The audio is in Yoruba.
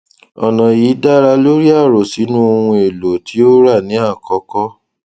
ọnà yìí dá lórí àròsínú oun èlò tí o rà ní àkọkọ